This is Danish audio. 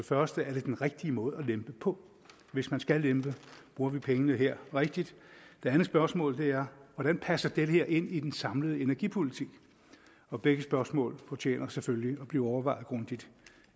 første er det den rigtige måde at lempe på hvis man skal lempe bruger vi pengene her rigtigt det andet spørgsmål er hvordan passer det her ind i den samlede energipolitik begge spørgsmål fortjener selvfølgelig at blive overvejet grundigt